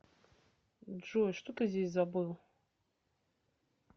джой что ты здесь забыл